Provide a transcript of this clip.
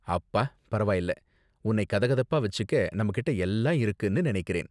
அப்பா பரவாயில்ல. உன்னை கதகதப்பா வச்சிக்க நம்ம கிட்ட எல்லா இருக்குன்னு நினைக்கிறேன்.